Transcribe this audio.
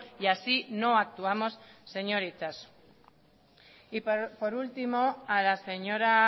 y así no actuamos señor itxaso y por último a la señora